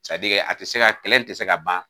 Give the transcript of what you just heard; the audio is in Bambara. Sadike a tɛ se ka kɛlɛ in tɛ se ka ban.